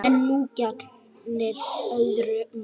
En nú gegnir öðru máli.